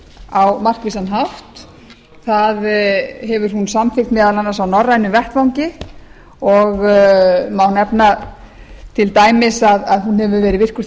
á markvissan hátt það hefur hún samþykkt meðal annars á norrænum vettvangi og má nefna til dæmis að en hefur verið virkur